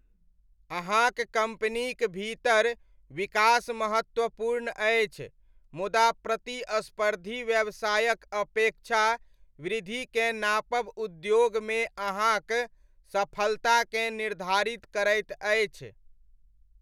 अहाँक कम्पनीक भीतर विकास महत्वपूर्ण अछि, मुदा प्रतिस्पर्धी व्यवसायक अपेक्षा वृद्धिकेँ नापब उद्योगमे अहाँक सफलताकेँ निर्धारित करैत अछि।